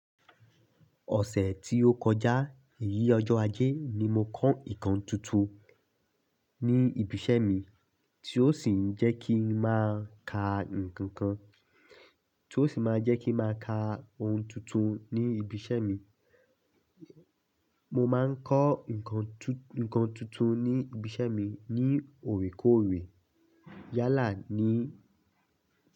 Ọ̀sẹ̀ tí ó kọjá, ìyí ọjọ́ ajé ni mo kọ́ nǹkan tuntun ní ibi iṣẹ́ mi tí ó sì máa jẹ́ kí ń máa ka ohun tuntun ní ibi iṣẹ́ mi. Mo máa ń kọ́ nǹkan tuntun ní ibi iṣẹ́ mi ní òrèkóòrè. Yálà ní.